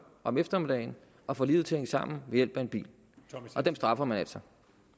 om eftermiddagen og får livet til at hænge sammen ved hjælp af en bil og dem straffer man altså